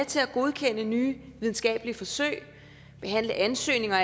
til at godkende nye videnskabelige forsøg behandle ansøgninger